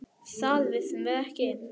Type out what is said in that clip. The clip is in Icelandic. Við vissum það ekki.